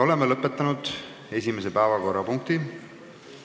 Oleme lõpetanud esimese päevakorrapunkti arutelu.